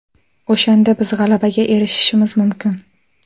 O‘shanda biz g‘alabaga erishishimiz mumkin.